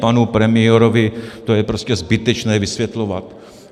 Panu premiérovi to je prostě zbytečné vysvětlovat.